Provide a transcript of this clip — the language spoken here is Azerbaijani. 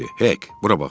"Hek, bura bax."